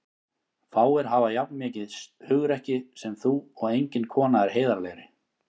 Fáir hafa jafn mikið hugrekki sem þú og engin kona er heiðarlegri.